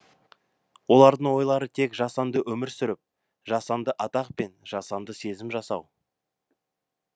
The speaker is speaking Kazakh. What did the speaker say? олардың ойлары тек жасанды өмір сүріп жасанды атақ пен жасанды сезім жасау